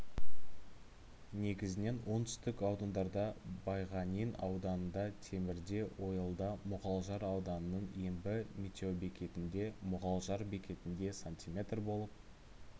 негізінен оңтүстік аудандарда байғанин ауданында темірде ойылда мұғалжар ауданының ембі метеобекетінде мұғалжар бекетінде см болып